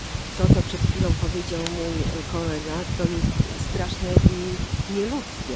To, co przed chwilą powiedział mój kolega, to jest straszne i nieludzkie.